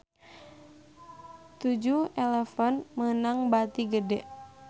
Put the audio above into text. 7-eleven meunang bati gede